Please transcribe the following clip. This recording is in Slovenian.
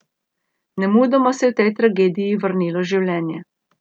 Nemudoma se je v tej tragediji vrnilo življenje.